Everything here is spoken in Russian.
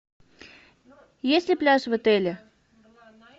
есть ли пляж в отеле